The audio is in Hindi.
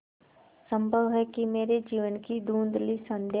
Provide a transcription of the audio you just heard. संभव है कि मेरे जीवन की धँुधली संध्या